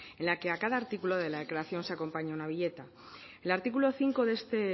en la que a cada artículo de la declaración se acompaña una viñeta el artículo cinco de este